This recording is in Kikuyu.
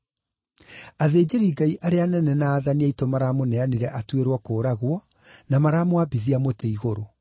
Athĩnjĩri-Ngai arĩa anene na aathani aitũ maramũneanire atuĩrwo kũũragwo, na maramwambithia mũtĩ-igũrũ.